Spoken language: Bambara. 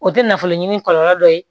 O tɛ nafolo ɲini kɔlɔlɔ dɔ ye